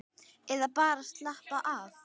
Eða bara að slappa af.